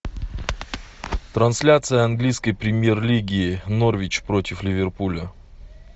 трансляция английской премьер лиги норвич против ливерпуля